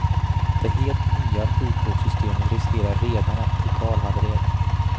Det helt nya sjukvårdssystemet riskerar redan att totalhaverera.